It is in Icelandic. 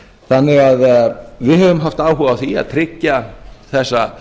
þannig að við höfum haft áhuga á að tryggja þessa